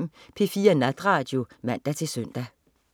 00.05 P4 Natradio (man-søn)